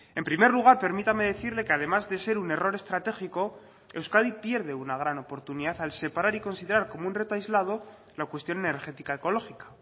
en primer lugar permítame decirle que además de ser un error estratégico euskadi pierde una gran oportunidad al separar y considerar como un reto aislado la cuestión energética ecológica